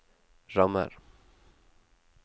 rammer